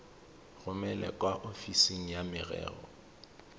romele kwa ofising ya merero